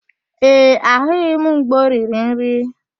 Ee, ahụghị m mgbe o riri nri.